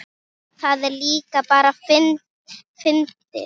Það er líka bara fyndið.